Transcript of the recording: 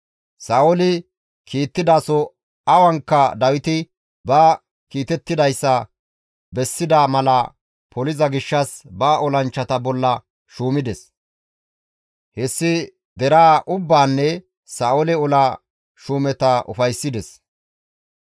Sa7ooli kiittidaso awankka Dawiti ba kiitettidayssa bessida mala poliza gishshas ba olanchchata bolla shuumides; hessi deraa ubbaanne Sa7oole ola shuumeta ufayssides.